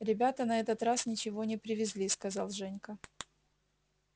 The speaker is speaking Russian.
ребята на этот раз ничего не привезли сказал женька